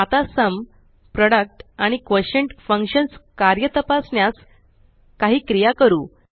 आता sum product आणि quotient functions कार्य तपासण्यास काही क्रिया करू